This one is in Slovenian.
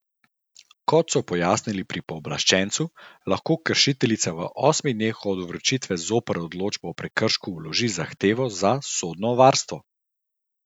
Kot so pojasnili pri pooblaščencu, lahko kršiteljica v osmih dneh od vročitve zoper odločbo o prekršku vloži zahtevo za sodno varstvo.